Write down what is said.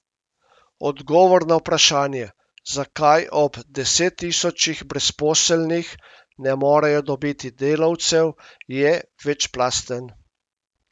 Odgovor na vprašanje, zakaj ob desettisočih brezposelnih ne morejo dobiti delavcev, je večplasten.